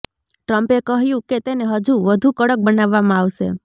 ટ્રમ્પે કહ્યું કે તેને હજુ વધુ કડક બનાવવામાં આવશે